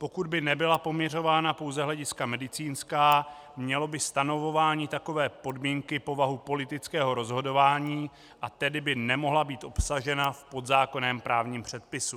Pokud by nebyla poměřována pouze hlediska medicínská, mělo by stanovování takové podmínky povahu politického rozhodování, a tedy by nemohla být obsaženo v podzákonném právním předpisu.